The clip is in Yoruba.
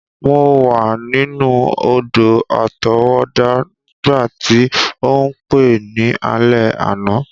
Mo wa ninu odò-àtọwọ́dá nígbàtí o n pe ni alẹ́ àná.